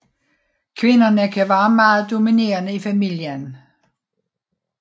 Kvinderne kan være meget dominerende i familien